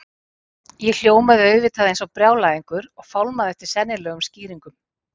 Ég hljómaði auðvitað eins og brjálæðingur og fálmaði eftir sennilegum skýringum.